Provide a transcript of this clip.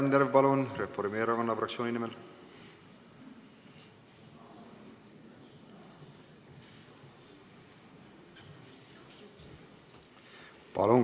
Laine Randjärv Reformierakonna fraktsiooni nimel, palun!